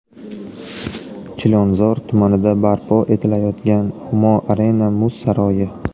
Chilonzor tumanida barpo etilayotgan Humo Arena muz saroyi.